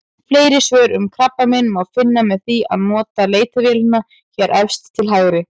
Fleiri svör um krabbamein má finna með því að nota leitarvélina hér efst til hægri.